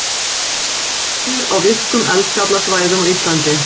Öskjur á virkum eldfjallasvæðum á Íslandi.